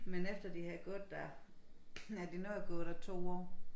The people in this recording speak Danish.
Men efter de havde gået der ja de nåede at gå der 2 år